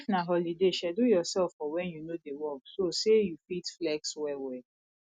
if na holiday schedule yourself for when you no dey work so say you fit flex well well